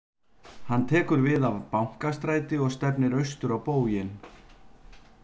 Hann tekur við af Bankastræti og stefnir austur á bóginn.